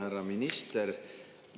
Härra minister!